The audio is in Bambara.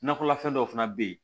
Nakɔlafɛn dɔw fana bɛ yen